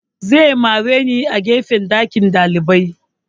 Zai mare ni a gefen ɗakin ɗalibai